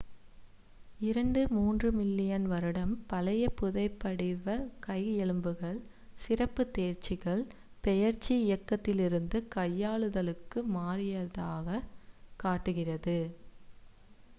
இரண்டுtwo மூன்றுthree மில்லியன் வருடம் பழைய புதைபடிவக் கை எலும்புகள் சிறப்புத் தேர்ச்சிகள் பெயர்ச்சி இயக்கத்திலிருந்து கையாளுதலுக்கு மாறியதைக் காட்டுகிறது